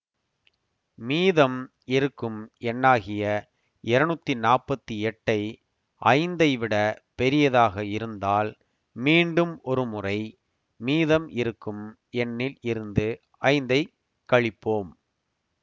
மீதம் இருக்கும் எண்ணாகிய இருநூத்தி நாற்பத்தி எட்டை ஐந்தை விட பெரியதாக இருந்தால் மீண்டும் ஒரு முறை மீதம் இருக்கும் எண்ணில் இருந்து ஐந்தைக் கழிப்போம்